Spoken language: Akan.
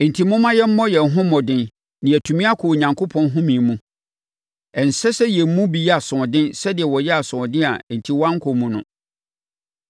Enti, momma yɛmmɔ yɛn ho mmɔden na yɛatumi akɔ Onyankopɔn home mu. Ɛnsɛ sɛ yɛn mu bi yɛ asoɔden sɛdeɛ wɔyɛɛ asoɔden a enti wɔankɔ mu no.